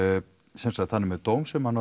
sem sagt hann er með dóm sem hann